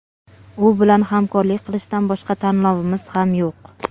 U bilan hamkorlik qilishdan boshqa tanlovimiz ham yo‘q.